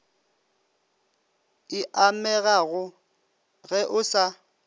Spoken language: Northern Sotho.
e amegago ge o sa